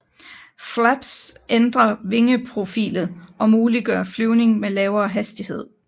Flaps ændrer vingeprofilet og muliggør flyvning ved lavere hastighed